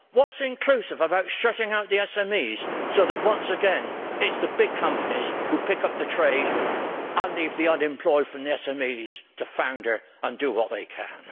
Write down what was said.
What is inclusive about shutting out the SMEs so that, once again, it is the big companies that pick up the trade and leave the unemployed from the SMEs to flounder and do what they can?